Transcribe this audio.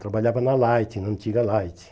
Trabalhava na Light, na antiga Light.